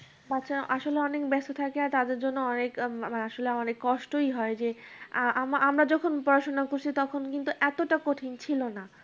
বাচ্চারা আসলে অনেক ব্যস্ত থাকে। আর তাদের জন্য অনেক আহ আমার আসলে অনেক কষ্টই হয় যে আ আ আমরা যখন পড়াশোনা করেছি তখন কিন্তু এতটা কঠিন ছিল না।